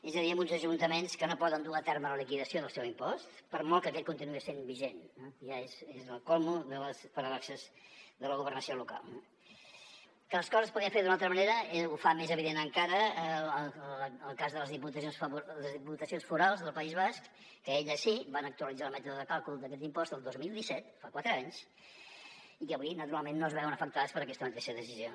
és a dir amb uns ajuntaments que no poden dur a terme la liquidació del seu impost per molt que aquest continuï sent vigent i és el colmo de les paradoxes de la governació local no que les coses es podrien fer d’una altra manera ho fa més evident encara en el cas de les diputacions forals del país basc que elles sí van actualitzar el mètode de càlcul d’aquest impost el dos mil disset fa quatre anys i que avui naturalment no es veuen afectades per aquesta mateixa decisió